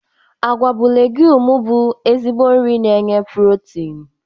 Agwa bụ leguumu bụ ezigbo nri na enye pulotinu.